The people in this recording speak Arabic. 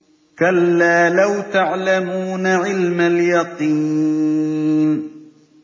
كَلَّا لَوْ تَعْلَمُونَ عِلْمَ الْيَقِينِ